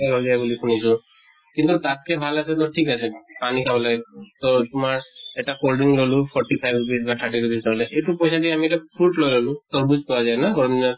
বুলি শুনিছো। কিন্তু তাত্কে ভাল আছে তʼ ঠিক আছে পানী খাবলৈ তʼ তোমাৰ এটা cold drink ললো forty five rupees বা thirty rupees ললে। এইটো পইছা দি আমি এটা fruit লৈ ললো। তৰ্বুজ পোৱা যায় ন গৰম দিনত?